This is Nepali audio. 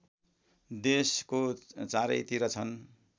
देशको चारैतिर छन्